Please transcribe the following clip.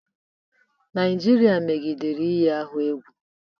Naijiria megidere iyi ọha egwu